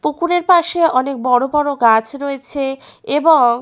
পুকুরের পাশে অনেক বড় বড় গাছ রয়েছে এবং--